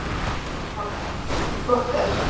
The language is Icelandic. Pálmi: Flott er.